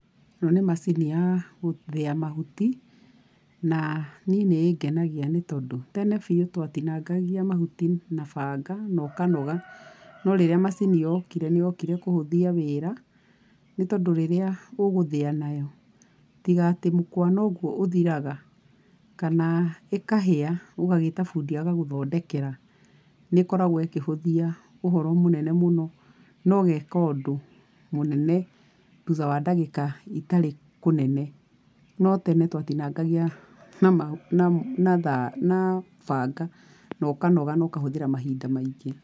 ĩno nĩ macini ya gũthĩa mahuti na niĩ nĩ ĩngenagia nĩ tondũ tene biũ twatinangagia mahuti na banga na ũkanoga. No rĩrĩa macini yokire nĩ yokire kũhũthia wĩra nĩ tondũ rĩrĩa ũgũthĩa nayo, tiga atĩ mũkwa noguo ũthiraga kana ĩkahĩa ũgagĩta bundi agagũthondekera, nĩ ĩkoragũo ĩkĩhũthia ũhoro mũnene mũno no ũgeka ũndũ mũnene thutha wa ndagĩka itarĩ kũnene. No tene twatinangagia na banga na ũkanoga na ũkahũthĩra mahinda maingĩ.